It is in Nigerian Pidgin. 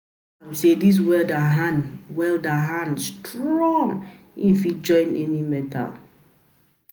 sey dis welder hand welder hand strong, him fit join any metal.